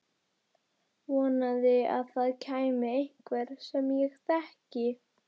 Vonaði að það kæmi einhver sem ég þekkti.